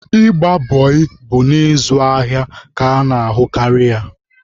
Ịgba bọị bụ na ịzụ ahịa ka a na-ahụkarị ya.